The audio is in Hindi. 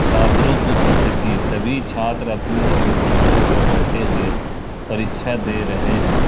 छात्रों की उपस्थित सभी छात्र अपनी अपनी सीटों पर बैठे हुए परीक्षा दे रहे हैं।